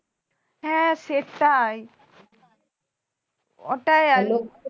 হ্যাঁ সেটাই ওটাই আর কি